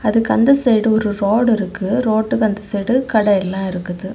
அதுக்கு அந்த சைடு ஒரு ரோடு இருக்கு ரோட்டுக்கு அந்த சைடு கட எல்லா இருக்குது.